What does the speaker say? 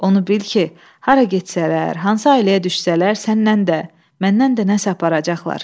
Onu bil ki, hara getsələr, hansı ailəyə düşsələr, səndən də, məndən də nəysə aparacaqlar.